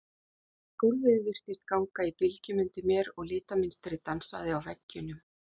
Gólfið virtist ganga í bylgjum undir mér og litamynstrið dansaði á veggjunum.